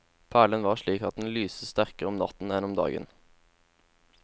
Perlen var slik at den lyste sterkere om natten enn om dagen.